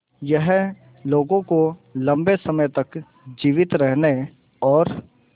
यह लोगों को लंबे समय तक जीवित रहने और